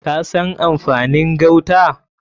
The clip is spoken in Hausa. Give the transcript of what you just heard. Ka san amfanin gauta?